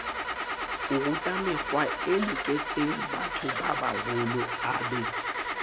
orutamekgwae loketsengbatho babaholo o be